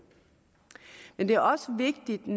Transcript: men det er også vigtigt i